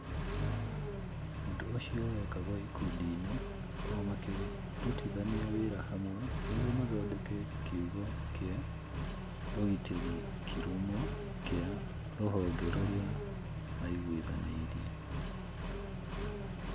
Ũndũ ũcio wekagwo ikundi-inĩ, o makĩrutithania wĩra hamwe nĩguo mathondeke kiugo kĩa ũgitĩri kĩrũmu kĩa rũhonge rũrĩa maigwithanĩirie.